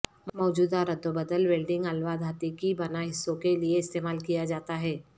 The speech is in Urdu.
موجودہ ردوبدل ویلڈنگ الوہ دھاتیں کی بنا حصوں کے لئے استعمال کیا جاتا ہے